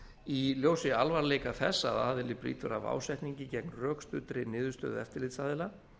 í ljósi alvarleika þess að aðili brýtur af ásetningi gegn rökstuddri niðurstöðu eftirlitsaðila